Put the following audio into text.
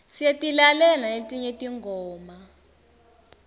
siyatilalela naletinye tingoma